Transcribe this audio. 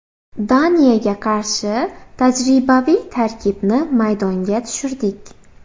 Daniyaga qarshi tajribaviy tarkibni maydonga tushirdik.